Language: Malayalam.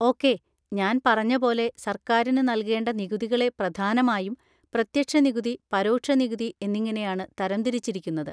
ഓക്കെ, ഞാൻ പറഞ്ഞ പോലെ സർക്കാരിന് നൽകേണ്ട നികുതികളെ പ്രധാനമായും പ്രത്യക്ഷ നികുതി, പരോക്ഷ നികുതി എന്നിങ്ങനെയാണ് തരംതിരിച്ചിരിക്കുന്നത്.